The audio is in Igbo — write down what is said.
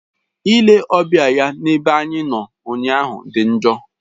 Ile ọbịa ya n'ebe anyị nọ ụnyaahụ dị njọ.